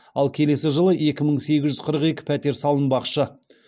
ал келесі жылы екі мың сегіз жүз қырық екі пәтер салынбақшы